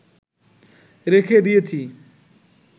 রেখে দিয়েছি